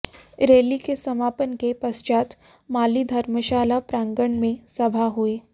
rally के समापन के पश्चात माली धर्मशाला प्रांगण में सभा हुई